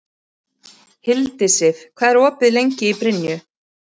Hildisif, hvað er opið lengi í Brynju?